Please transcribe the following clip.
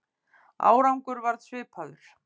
Árangur varð svipaður.